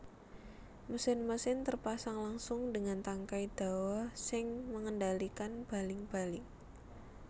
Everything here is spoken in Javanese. Mesin mesin terpasang langsung dengan tangkai dawa sing mengendalikan baling baling